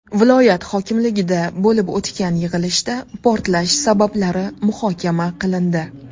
Viloyat hokimligida bo‘lib o‘tgan yig‘ilishda portlash sabablari muhokama qilindi.